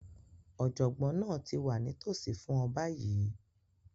Ọ̀jọ̀gbọ́n náà ti wà nítòsí fún ọ báyìí